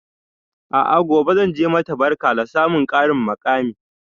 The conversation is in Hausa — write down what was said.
A'a gobe zanje mata barka na samun ƙarin muƙami